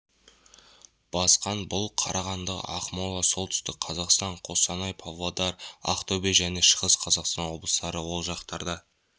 басқан бұл қарағанды ақмола солтүстік қазақстан қостанай павлодар ақтөбе және шығыс қазақстан облыстары ол жақтарда